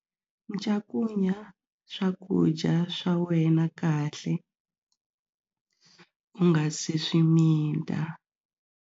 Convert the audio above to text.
Cakunya swakudya swa wena kahle u nga si swi mita.